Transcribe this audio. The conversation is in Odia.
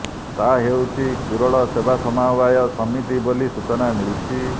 ତାହା ହେଉଛି କୁରଳ ସେବା ସମବାୟ ସମିତି ବୋଲି ସୂଚନା ମିଳିଛି